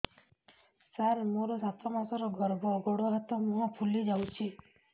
ସାର ମୋର ସାତ ମାସର ଗର୍ଭ ଗୋଡ଼ ହାତ ମୁହଁ ଫୁଲି ଯାଉଛି